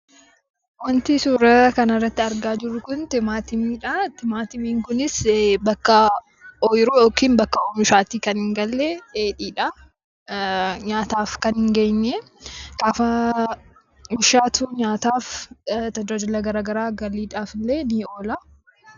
Wanti suuraa kanarratti argaa jirru timaatimiidha. Innis kan jiru bakka oomishaa yookiin lafa ooyiruu kan hin bilchaanne dheedhiidha. Nyaataaf kan hin geenye gaafa bilchaatu tajaajila garaagaraaf, galiidhaaf illee ni oola